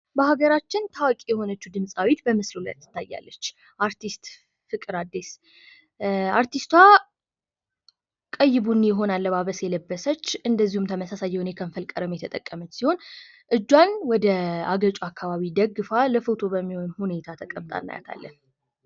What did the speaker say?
በሀገራችን ታዋቂ የሆነችው ድምፃዊት በምስሉ ላይ ትታያለ። አርቲስት ፍቅር አዲስ አርቲስቷ ቀይ ቡኒ የሆነ አለባበስ የለበሰች እንደዚሁም ተመሳሳይ የከንፈር ቀለም የተጠቀመች ሲሆን እጇን ወደ አገጭ አካባቢ ደግፋ ለፎቶ በሚሆን ሁኔታ ተቀምጣ እናያት አለን።